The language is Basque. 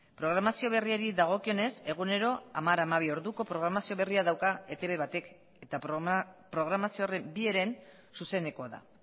programazio berriari dagokionez egunero hamar hamabi orduko programazio berria dauka etb batek eta programazio horren bi heren zuzenekoa da